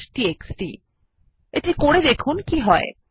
আবার স্লাইডে ফিরে যাওয়া যাক